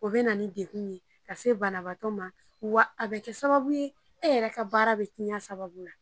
O bɛ na ni degun ye ka se banabaatɔ ma, wa a bɛ kɛ sababu ye, e yɛrɛ ka baara bɛ tiɲɛ o sababu la.